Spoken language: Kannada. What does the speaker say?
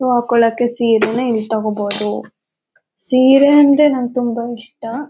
ಹೂ ಹಾಕೋಕೆ ಸೀರೆ ಇಲ್ ತಗೋಬೋದು ಸೀರೆ ಅಂದ್ರೆ ನಂಗೆ ತುಂಬಾ ಇಷ್ಟ.